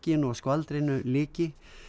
og skvaldrinu lyki